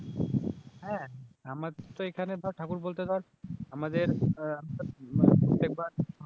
হ্যাঁ আমার তো এখানে ধর ঠাকুর বলতে ধর আমাদের